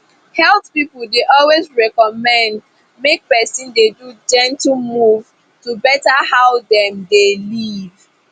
health people dey always recommend make person dey do gentle move to better how dem dey live